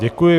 Děkuji.